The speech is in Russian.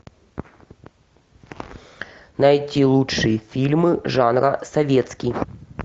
найти лучшие фильмы жанра советский